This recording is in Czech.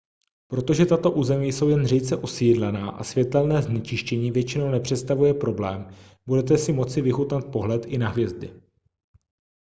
protože tato území jsou jen řídce osídlená a světelné znečištění většinou nepředstavuje problém budete si moci vychutnat pohled i na hvězdy